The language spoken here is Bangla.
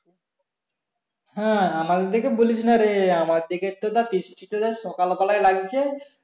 হ্যাঁ আমাদের এইদিকে বলিস না রে আমাদের দিকে তো বৃষ্টি টা সকাল বেলায় লাগছে